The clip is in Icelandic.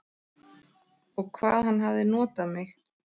Og hvað hann hafði notað mig.